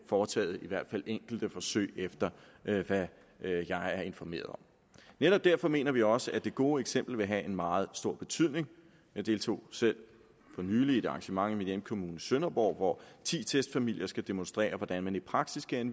foretaget i hvert fald enkelte forsøg efter hvad jeg er informeret om netop derfor mener vi også at det gode eksempel vil have en meget stor betydning jeg deltog selv for nylig i et arrangement i min hjemkommune sønderborg hvor ti testfamilier skal demonstrere hvordan man i praksis kan